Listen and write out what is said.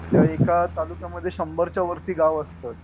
एका तालुक्यामध्ये शंभरच्या वरती गावं असतात.